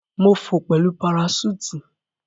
Mo fò pẹlu paraṣúùtì.